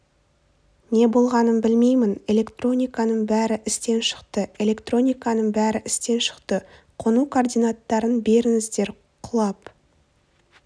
не болғанын білмеймін электрониканың бәрі істен шықты электрониканың бәрі істен шықты қону координаттарын беріңіздер құлап